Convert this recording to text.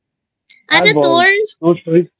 আচ্ছা তোর